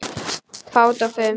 Fát og fum